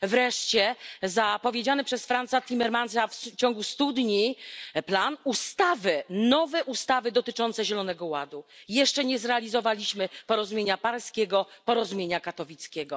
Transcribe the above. Wreszcie zapowiedziany przez Fransa Timmermansa w ciągu studni plan ustawy, nowe ustawy dotyczące zielonego ładu. Jeszcze nie zrealizowaliśmy porozumienia paryskiego, porozumienia katowickiego.